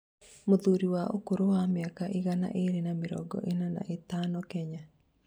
Mũthuri wa ũkũrũ wa mĩaka igana ria mĩrongo ĩna na ithano Kenya